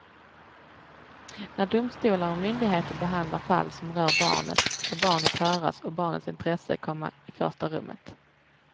När domstolar och myndigheter behandlar fall som rör barnet ska barnet höras och barnets intresse komma i första rummet.